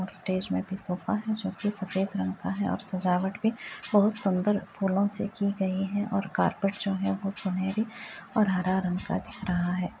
Stage में भी sofa है जोकि सफ़ेद रंग का है और सजावट भी बोहोत सुन्दर फूलों से की गयी है और कार्पेट जो है वो सुनहरी और हरा रंग का दिख रहा है।